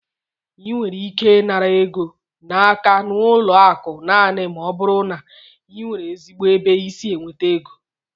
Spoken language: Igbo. Ị nwere ike ịnara ego n'aka n'ụlọ akụ naanị ma ọ bụrụ na ị nwere ezigbo ebe i si enweta égo